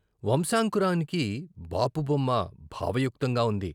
వంశాంకు రానికి బాపు బొమ్మ భావయుక్తంగా ఉంది..